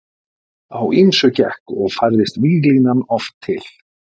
Á ýmsu gekk og færðist víglínan oft til.